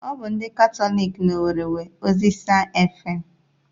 Ọ bụ ndị Katọlik na owerri nwe Oziza efem